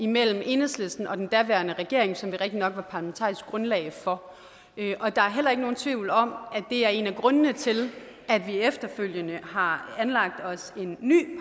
mellem enhedslisten og den daværende regering som vi rigtigt nok var parlamentarisk grundlag for der er heller ikke nogen tvivl om at det er en af grundene til at vi efterfølgende har anlagt os en ny